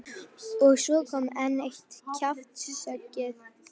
Og svo kom enn eitt kjaftshöggið.